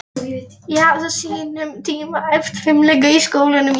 Sá yngsti kjörinn fyrir Eyjafjörð í sögulegri aukakosningu.